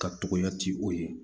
Ka togoya ti o ye